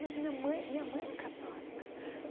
Mas minha mãe, minha mãe é católica.